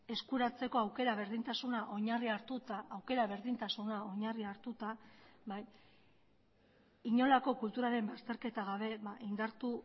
eskuratzeko aukera berdintasuna oinarri hartuta aukera berdintasuna oinarri hartuta inolako kulturaren bazterketa gabe indartu